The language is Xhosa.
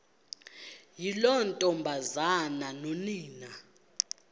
yiloo ntombazana nonina